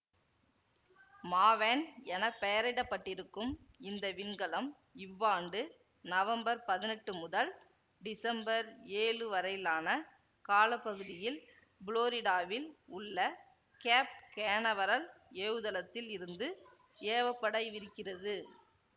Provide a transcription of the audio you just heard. Maven என பெயரிடப்பட்டிருக்கும் இந்த விண்கலம் இவ்வாண்டு நவம்பர் பதினெட்டு முதல் டிசம்பர் ஏழு வரையிலான கால பகுதியில் புளோரிடாவில் உள்ள கேப் கேனவரல் ஏவுதளத்தில் இருந்து ஏவப்படவிருக்கிறது